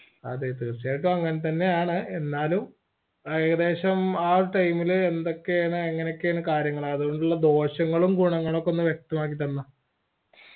അതെ തീർച്ചയായിട്ടും അങ്ങനെത്തന്നെയാണ് എന്നാലും ആഹ് ഏകദേശം ആ ഒരു time ൽ എന്തൊക്കെയാണ് എങ്ങനെയൊക്കെയാണ് കാര്യങ്ങള് അതോണ്ടുള്ള ദോഷങ്ങളും ഗുണങ്ങളും ഒകെ ഒന്ന് വ്യക്തമാക്കിത്തന്നെ